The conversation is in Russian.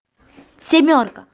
семёрка